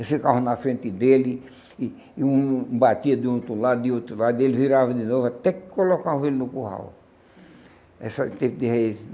Esse carro na frente dele, e e um batia de um outro lado, de outro lado, e ele virava de novo, até que colocava ele no curral.